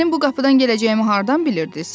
Mənim bu qapıdan gələcəyimi hardan bilirdiz?